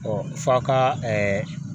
f'a ka